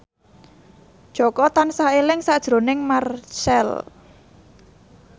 Jaka tansah eling sakjroning Marchell